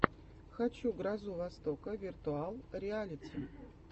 хочу грозу востока виртуал реалити